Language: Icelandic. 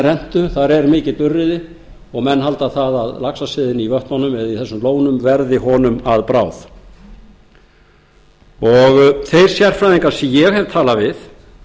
rentu þar er mikill urriði og menn halda að laxaseiði í vötnunum eða í þessum lónum verði honum að bráð þeir sérfræðingar sem ég hef talað við